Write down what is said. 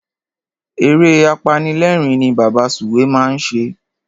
Eré apanilérìn ni Bàbá Sùwé máa ń ṣe.